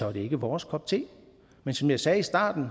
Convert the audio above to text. er det ikke vores kop te men som jeg sagde i starten